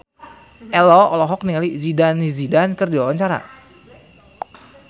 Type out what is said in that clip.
Ello olohok ningali Zidane Zidane keur diwawancara